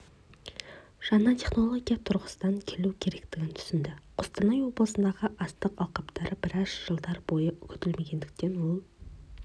жаңа технология тұрғысынан келу керектігін түсінді қостанай облысындағы астық алқаптары біраз жылдар бойы күтілмегендіктен ол